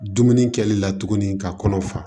Dumuni kɛli la tuguni ka kɔnɔ fa